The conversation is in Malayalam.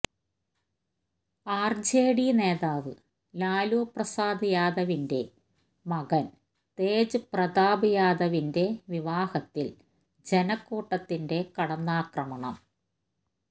ആര്ജെഡി നേതാവ് ലാലു പ്രസാദ് യാദവിന്റെ മകന് തേജ് പ്രതാപ് യാദവിന്റെ വിവാഹത്തില് ജനക്കൂട്ടത്തിന്റെ കടന്നാക്രമണം